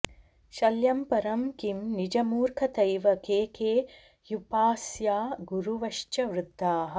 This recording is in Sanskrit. शल्यं परं किं निजमूर्खतैव के के ह्युपास्या गुरुवश्च वृद्धाः